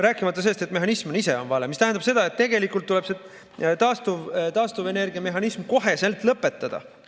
Rääkimata sellest, et mehhanism ise on vale, mis tähendab seda, et tegelikult tuleb taastuvenergiamehhanism koheselt lõpetada.